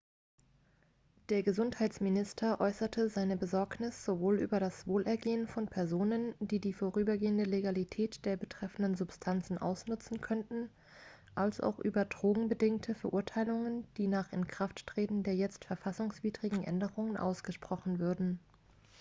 der gesundheitsminister äußerte seine besorgnis sowohl über das wohlergehen von personen die die vorübergehende legalität der betreffenden substanzen ausnutzen könnten als auch über drogenbedingte verurteilungen die nach inkrafttreten der jetzt verfassungswidrigen änderungen ausgesprochen würden